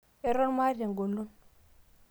eton maata eng'olon